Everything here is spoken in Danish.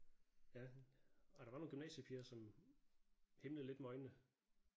Ja og der var nogle gymnasiepiger som himlede lidt med øjnene